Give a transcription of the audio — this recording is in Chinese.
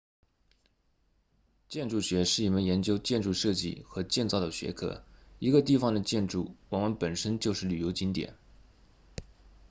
建筑学是一门研究建筑设计和建造的学科一个地方的建筑往往本身就是旅游景点